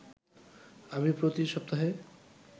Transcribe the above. আমি প্রতি সপ্তাহে